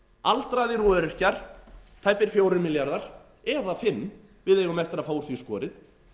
aldraðir og öryrkjar tæpir fjórir milljarðar eða fimm við eigum eftir að fá úr því skorið